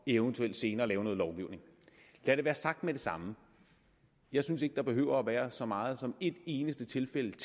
eventuelt senere lave noget lovgivning lad det være sagt med det samme jeg synes ikke at der behøver at være så meget som et eneste tilfælde